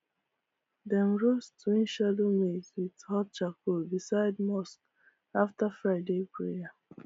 dem roast twin shadow maize with hot charcoal beside mosque after friday prayer